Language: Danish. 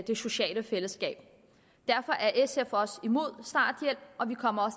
det sociale fællesskab derfor er sf også imod starthjælp og vi kommer